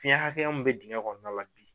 Fiyɛn hakɛya min bɛ digɛn kɔnɔna la bi.